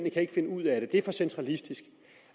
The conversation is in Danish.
finde ud af det det er for centralistisk